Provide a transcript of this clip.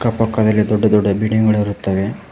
ಕಪ್ಪು ಕಲೆಗೆ ದೊಡ್ಡ ದೊಡ್ಡ ಬಿಲ್ಡಿಂಗ್ ಗಳಿರುತ್ತವೆ.